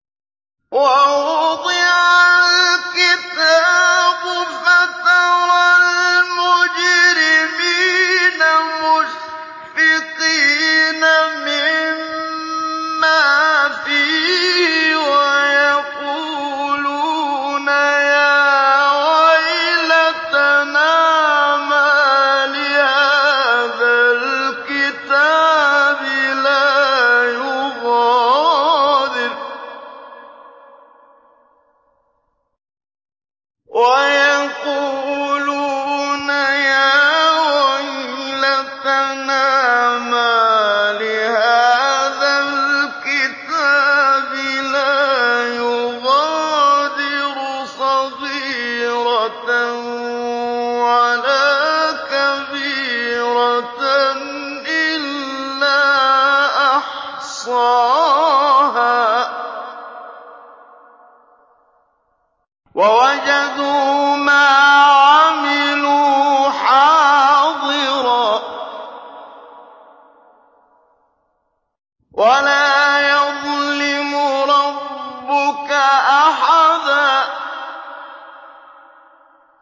وَوُضِعَ الْكِتَابُ فَتَرَى الْمُجْرِمِينَ مُشْفِقِينَ مِمَّا فِيهِ وَيَقُولُونَ يَا وَيْلَتَنَا مَالِ هَٰذَا الْكِتَابِ لَا يُغَادِرُ صَغِيرَةً وَلَا كَبِيرَةً إِلَّا أَحْصَاهَا ۚ وَوَجَدُوا مَا عَمِلُوا حَاضِرًا ۗ وَلَا يَظْلِمُ رَبُّكَ أَحَدًا